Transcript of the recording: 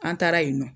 An taara yen nɔ